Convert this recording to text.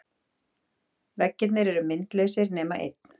Veggirnir eru myndlausir nema einn.